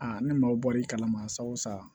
Aa ni maaw bɔr'i kalama sa wo sa